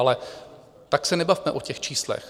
Ale tak se nebavme o těch číslech.